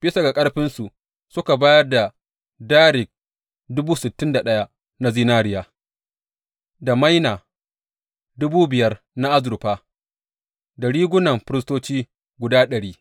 Bisa ga ƙarfinsu suka bayar da darik na zinariya, da maina dubu biyar na azurfa, da rigunan firistoci guda dari.